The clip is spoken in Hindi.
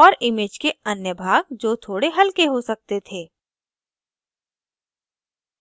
और image के अन्य भाग जो थोड़े हल्के हो सकते थे